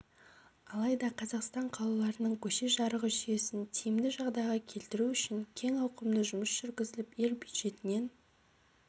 алайда қазақстан қалаларының көше жарығы жүйесін тиімді жағдайға келтіру үшін кең ауқымды жұмыс жүргізіліп ел бюджетінен